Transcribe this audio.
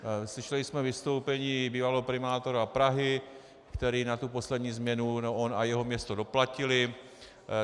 Slyšeli jsme vystoupení bývalého primátora Prahy, který na tu poslední změnu - on a jeho město doplatili.